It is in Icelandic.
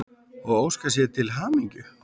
og óska þér til hamingju.